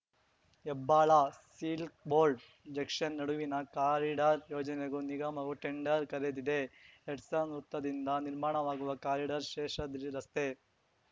Hebbal Silk Board junction ನಡುವಿನ corridor ಯೋಜನೆಗೂ ನಿಗಮವು ಟೆಂಡರ್ ಕರೆದಿದೆ ಹೆಡ್ಸನ್ ವೃತ್ತದಿಂದ ನಿರ್ಮಾಣವಾಗುವ ಕಾರಿಡಾರ್ ಶೇಷಾದ್ರಿರಸ್ತೆ